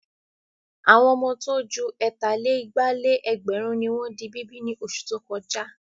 Àwọn ọmọ tó ju ẹ̀tà-lé-igba-lé-ẹgbẹ̀rún ni wọ́n di bíbí ní oṣù tó kọjá.